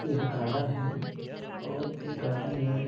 यह गार्डन है और इस गार्डन में--